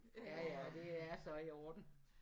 Ja ja det er så i orden